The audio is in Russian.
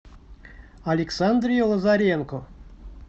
александре лазаренко